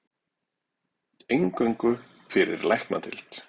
Eingöngu fyrir læknadeild